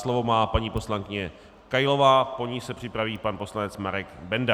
Slovo má paní poslankyně Kailová, po ní se připraví pan poslanec Marek Benda.